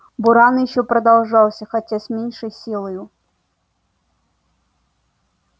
буран ещё продолжался хотя с меньшею силою